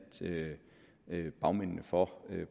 bagmændene for